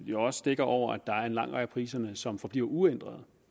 jo også dækker over at der er en lang række af priserne som forbliver uændret og